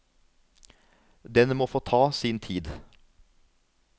Den må få ta sin tid.